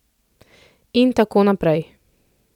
In tako naprej!